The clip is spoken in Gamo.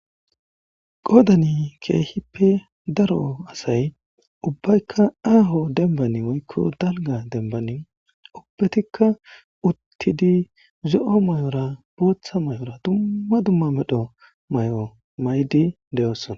qodani keehippe daro asay ubbaykka aaho dembani woykko dalga dembani upbetikka uttidi zo7o may7ora booththa may7ora dumma dumma medho may7o maydi deyoossona